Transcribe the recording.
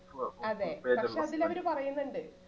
അതെ പക്ഷെ അതിലവര് പറയുന്നുണ്ട്